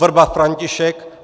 Vrba František